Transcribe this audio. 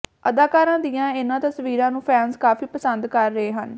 ਅਦਾਕਾਰਾ ਦੀਆਂ ਇਨ੍ਹਾਂ ਤਸਵੀਰਾਂ ਨੂੰ ਫੈਨਜ਼ ਕਾਫੀ ਪਸੰਦ ਕਰ ਰਹੇ ਹਨ